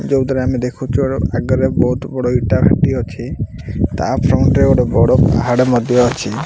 ଯୋଉଥିରେ ଆମେ ଦେଖୁଛୁ ଅ ଆଗରେ ବହୁତ୍ ବଡ଼ ଇଟା ଭାଟି ଅଛି ତା ଫ୍ରଣ୍ଟ ରେ ଗୋଟେ ବଡ଼ ପାହାଡ଼ ମଧ୍ୟ ଅଛି।